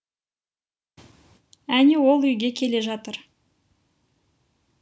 әне ол үйге келе жатыр